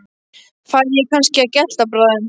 Færi ég kannski að gelta bráðum.